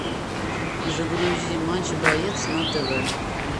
загрузи матч боец на тв